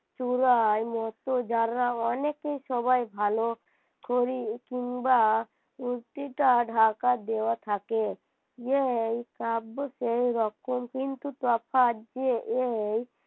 চূড়ার মত যারা অনেকেই সবাই ভালো করি কিংবা মূর্তিটা ঢাকা দেওয়া থাকে যেরকম কিন্তু তফাৎ যে এই